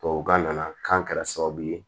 Tubabukan nana k'a kɛra sababu ye